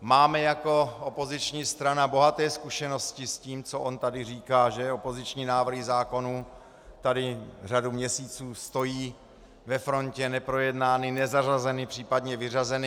Máme jako opoziční strana bohaté zkušenosti s tím, co on tady říká, že opoziční návrhy zákonů tady řadu měsíců stojí ve frontě neprojednány, nezařazeny, případně vyřazeny.